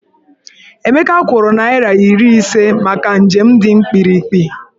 Emeka kwụrụ naịra iri ise maka njem dị mkpirikpi.